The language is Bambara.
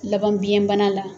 Laban biyɛnbana la